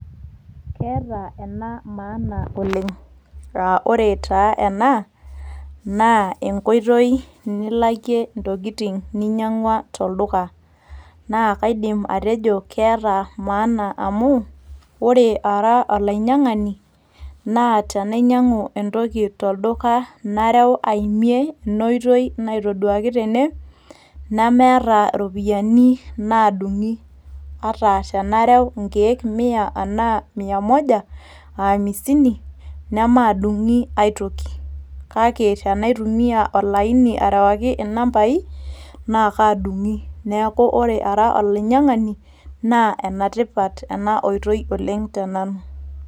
Keeta ena maana oleng'. Ah ore taa ena, naa enkoitoi nilakie intokiting' ninyang'ua tolduka. Na kaidim atejo keeta maana amu, ore ara olainyang'ani, na tenainyang'u entoki tolduka nareu aimie enoitoi naitoduaki tene, nemeeta iropiyiani nadung'i ata tenareu inkeek mia enaa mia moja o aamisini, nemaadung'i ai toki. Kake tenaitumia olaini arewaki nambai, nakaadung'i. Neeku ore ara olainyang'ani, naa enetipat ena oitoi oleng' tenanu.